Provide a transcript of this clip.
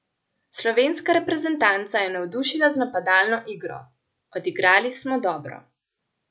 Slovenska reprezentanca je navdušila z napadalno igro: "Odigrali smo dobro.